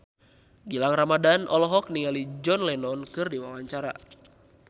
Gilang Ramadan olohok ningali John Lennon keur diwawancara